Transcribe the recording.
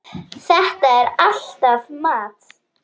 Þetta er alltaf mat.